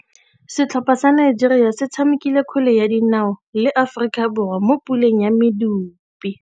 Setlhopha sa Nigeria se tshamekile kgwele ya dinaô le Aforika Borwa mo puleng ya medupe.